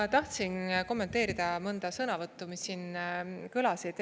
Ma tahtsin kommenteerida mõnda sõnavõttu, mis siin kõlasid.